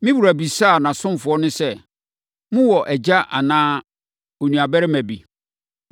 Me wura bisaa nʼasomfoɔ no sɛ, ‘Mowɔ agya anaa onuabarima bi?’